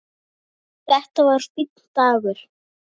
Þetta var fínn dagur.